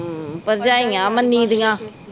ਹਮ ਭਰਜਾਈਆਂ ਮੰਨੀਦੀਆਂ